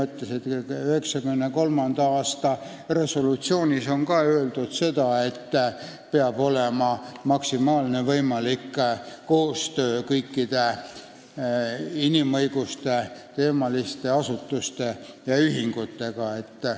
1993. aasta resolutsioonis on ka öeldud, et peab olema maksimaalne võimalik koostöö kõikide inimõiguste kaitse asutuste ja ühingutega.